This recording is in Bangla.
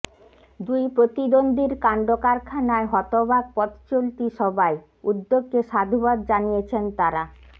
দুই প্রতিদ্বন্দ্বীর কাণ্ডকারখানায় হতবাক পথচলতি সবাই উদ্যোগকে সাধুবাদ জানিয়েছেন তাঁরা